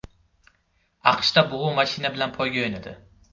AQShda bug‘u mashina bilan poyga o‘ynadi .